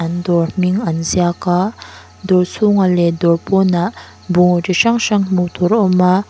an dawr hming an ziak a dawr chhungah leh dawr pawnah bungraw chi hrang hrang hmuh tur a awm a.